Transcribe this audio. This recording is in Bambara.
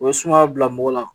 O be sumaya bila mɔgɔ la.